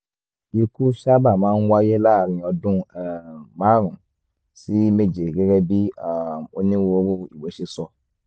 ikú sábà máa ń wáyé láàárín ọdún um márùn-ún sí méje gẹ́gẹ́ bí um onírúurú ìwé ṣe sọ um